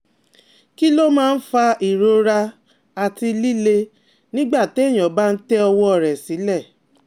Kí ló máa ń fa ìrora àti lilè nígbà téèyàn bá ń tẹ ọwọ́ rẹ̀ sile?